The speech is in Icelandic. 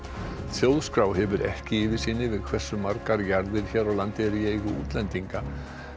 þjóðskrá hefur ekki yfirsýn yfir hversu margar jarðir hér á landi eru í eigu útlendinga